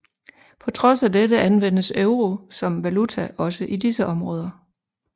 På trods af dette anvendes euro som valuta også i disse områder